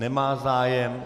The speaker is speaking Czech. Nemá zájem.